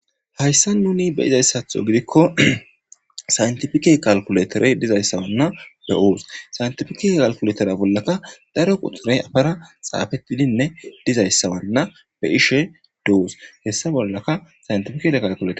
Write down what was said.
Hayssan nuuni be7izayssatho gidikko saynthifike kalkuletherey dizayssawanna be7oos; saynthifike kalkulethera bollaka daro quxurey yafara xaafeththidinne dizayssawanna be7ishe doos; hessa bollaka saynthifikee kalkuleth.